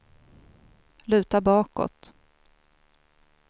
luta bakåt